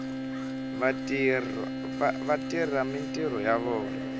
va tirha mintirho ya vona